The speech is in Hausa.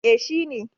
eh shi ne